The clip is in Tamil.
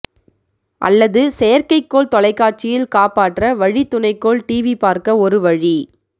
அல்லது செயற்கைக்கோள் தொலைக்காட்சியில் காப்பாற்ற வழி துணைக்கோள் டிவி பார்க்க ஒரு வழி